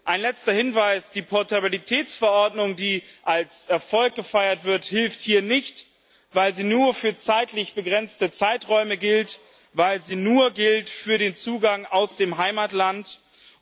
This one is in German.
Ein letzter Hinweis Die Portabilitätsverordnung, die als Erfolg gefeiert wird, hilft hier nicht, weil sie nur für zeitlich begrenzte Zeiträume gilt, weil sie nur für den Zugang aus dem Heimatland gilt.